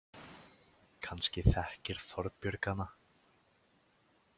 Kannski þekkir Þorbjörg hana.